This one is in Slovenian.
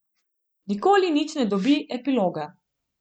Nikoli nič ne dobi epiloga.